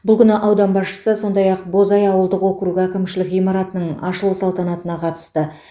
бұл күні аудан басшысы сондай ақ бозай ауылдық округі әкімшілік ғимаратының ашылу салтанатына қатысты